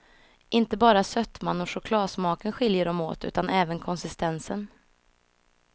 Inte bara sötman och chokladsmaken skiljer dem åt, utan även konsistensen.